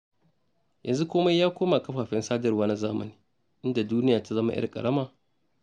Yanzu komai ya koma kafafen sadarwa na zamani, inda duniya ta zama 'yar ƙarama.